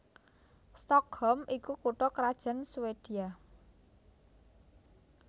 Stockholm iku kutha krajan Swédia